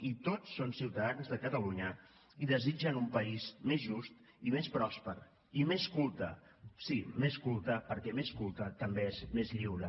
i tots són ciutadans de catalunya i desitgen un país més just i més pròsper i més culte sí més culte perquè més culte també és més lliure